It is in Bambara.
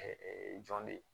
jɔn de ye